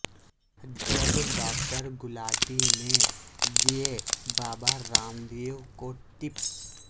جب ڈاکٹر گلاٹی نے دئے بابا رام دیو کو ٹپس